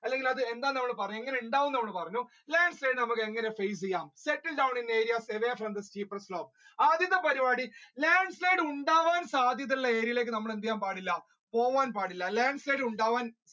അല്ലെങ്കിൽ അത് എന്താന്ന് എങ്ങനെയുണ്ടാവും എന്ന് അവൾ പറഞ്ഞു landslide നമ്മുക്ക് എങ്ങനെ ചെയ്യാം stepping down away from the ആദ്യത്തെ പരിപാടി landslide ഉണ്ടാകാൻ സാധ്യത ഉള്ള area ലേക്ക് നമ്മൾ എന്ത് ചെയ്യാൻ പാടില്ല പോവാൻ പാടില്ല landslide ഉണ്ടാവാൻ